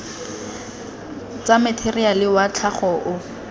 tsa matheriale wa tlhago o